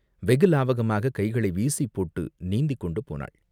வெகு லாவகமாகக் கைகளை வீசிப்போட்டு நீந்திக்கொண்டு போனாள்.